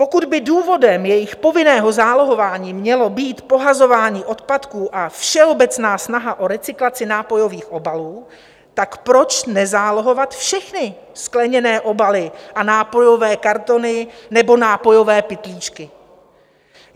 Pokud by důvodem jejich povinného zálohování mělo být pohazování odpadků a všeobecná snaha o recyklaci nápojových obalů, tak proč nezálohovat všechny skleněné obaly a nápojové kartony nebo nápojové pytlíčky?